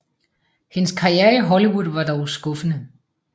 Hendes karriere i Hollywood var dog skuffende